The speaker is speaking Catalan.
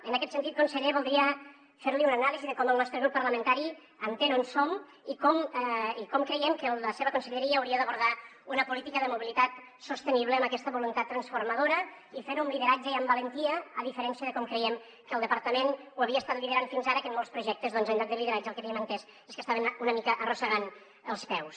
en aquest sentit conseller voldria fer li una anàlisi de com el nostre grup parlamentari entén on som i com creiem que la seva conselleria hauria d’abordar una política de mobilitat sostenible amb aquesta voluntat transformadora i fer ho amb lideratge i amb valentia a diferència de com creiem que el departament ho havia estat liderant fins ara que en molts projectes doncs en lloc de lideratge el que havíem entès és que estaven una mica arrossegant els peus